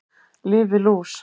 Lyf við lús